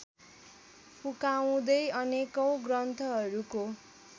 फुकाउँदै अनेकौँ ग्रन्थहरूको